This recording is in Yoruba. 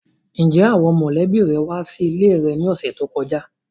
Njẹ awọn mọlẹbi rẹ wa sile rẹ ni ọsẹ to kọja?